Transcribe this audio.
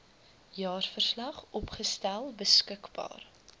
jaarverslag opgestel beskikbaar